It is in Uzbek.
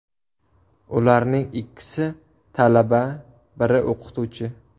Ularning ikkisi talaba, biri o‘qituvchi.